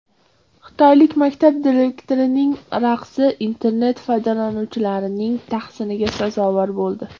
Xitoylik maktab direktorining raqsi internet foydalanuvchilarining tahsiniga sazovor bo‘ldi .